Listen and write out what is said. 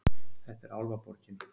Þetta er Álfaborgin.